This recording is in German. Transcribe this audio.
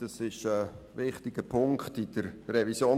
Das ist ein wichtiger Punkt in der Revision